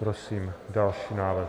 Prosím další návrh.